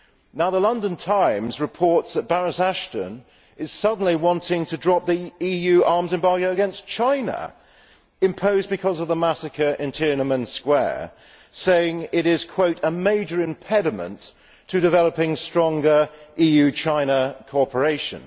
Now, the London Times reports that Baroness Ashton suddenly wants to drop the EU arms embargo against China, which was imposed because of the massacre in Tiananmen Square, saying it is a major impediment to developing stronger EU China cooperation'.